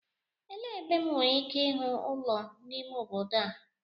Elee ebe M nwere ike ịhụ ụlọ n'ime obodo a?